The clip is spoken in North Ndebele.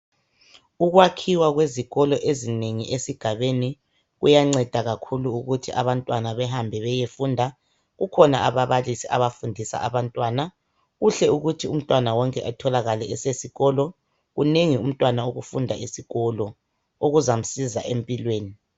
Ukwakhiwa kwezikolo ezinengi esigabeni kuyanceda kakhulu ukuthi abantwana behambe bayefunda kukhona ababalisi abafundisa abantwana kuhle ukuthi umntwana wonke etholakala esesikolo kunengi umntwana okufunda esikolo okuzamsiza empilweni.